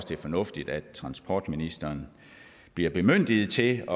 det er fornuftigt at transportministeren bliver bemyndiget til